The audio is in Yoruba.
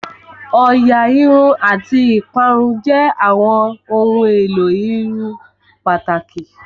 Òyà Irun àti ìparun jẹ́ àwọn ohun èlò ìserun pàtàkì